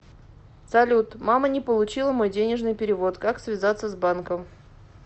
салют мама не получила мой денежный перевод как связаться с банком